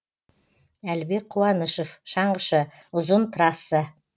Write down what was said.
әлібек қуанышев шаңғышы ұзын трасса